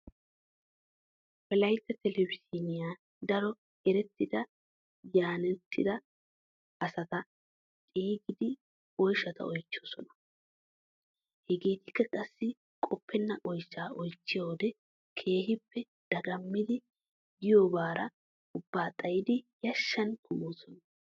Wolayitta telebizhzhiiniyan daro erettida yaynettida asata xeegidi oyshata oychchoosona. Heegetikka qassi qoppena oyshaa oychchiyoodee keehippe dagammidi giyoobaara ubbaa xayidi yashshan kumoosona.